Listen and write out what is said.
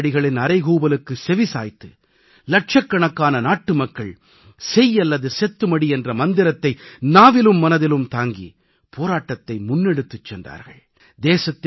காந்தியடிகளின் அறைகூவலுக்கு செவிசாய்த்து இலட்சக்கணக்கான நாட்டுமக்கள் செய் அல்லது செத்துமடி என்ற மந்திரத்தை நாவிலும் மனதிலும் தாங்கி போராட்டத்தை முன்னெடுத்துச் சென்றார்கள்